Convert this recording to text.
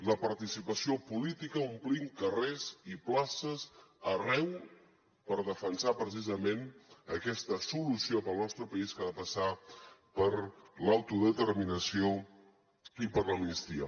la participació política omplint carrers i places arreu per defensar precisament aquesta solució per al nostre país que ha de passar per l’autodeterminació i per l’amnistia